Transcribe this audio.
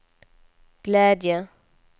glädje